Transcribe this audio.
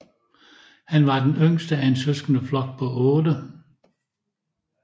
Han var den yngste af en søskendeflok på 8